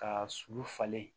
Ka sulu falen